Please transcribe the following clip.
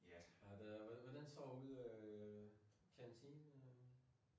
Ja. Har det hvordan står ude kantinen?